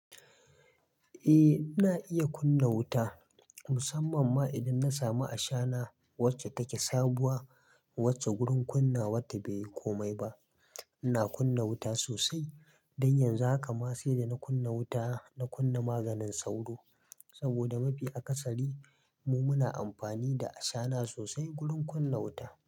Eh na iya kunna wuta, musamman ma idan na samu ashana wacce take sabuwa, wacce gurin kunnawatta bai yi komai ba. Ina kunna wuta sosai, dan yanzu haka ma sai da na kunna wuta na kunna maganin sauro. Saboda mafi akasari mu muna amfani da ashana sosai gurin kunna wuta.